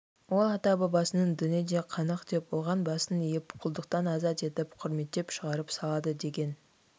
ол ата-бабасының дініне де қанық деп оған басын иіп құлдықтан азат етіп құрметтеп шығарып салады деген